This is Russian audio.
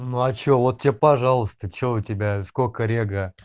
ну а что вот тебе пожалуйста что у тебя сколько рега